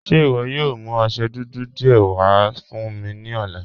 Ṣe iwọ yóò mú ọṣẹ́ dúdú díẹ̀ wà fún mi ni ọ̀lá?